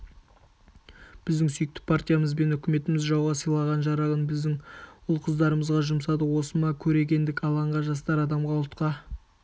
біздің сүйікті партиямыз бен үкіметіміз жауға сайлаған жарағын біздің ұл-қыздарымызға жұмсады осы ма көрегендік алаңға жастар адамға ұлтқа